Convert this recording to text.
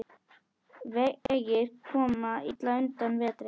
Vegir koma illa undan vetri.